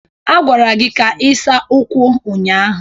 A gwara gị ka ị saa ụkwụ ụnyahụ!